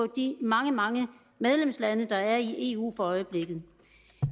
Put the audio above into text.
de mange mange medlemslande der er i eu for øjeblikket